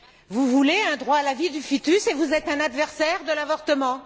Vous voulez un droit à la vie du fœtus et vous êtes un adversaire de l'avortement!